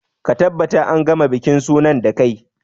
Ka tabbata an gama bikin sunan da kai!